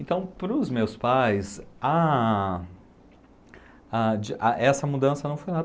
Então, pros meus pais, a... essa mudança não foi nada.